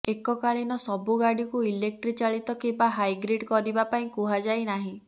ଏକକାଳୀନ ସବୁଗାଡିକୁ ଇଲେକ୍ଟ୍ରି ଚାଳିତ କିମ୍ବା ହାଇଗ୍ରିଡ୍ କରିବା ପାଇଁ କୁହାଯାଇ ନାହିଁ